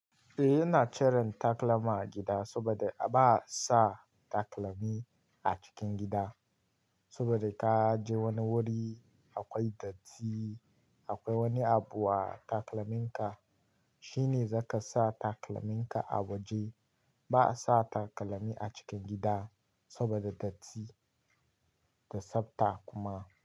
Eh, ina chire takalma a gida saboda ba a sa takalmi a cikin gida. Saboda ka je wani wuri akwai datti, akwai wani abu a taklaminka shine zaka sa takalminka a waje. Ba sa takalmi a cikin gida saboda datti da sabta kuma.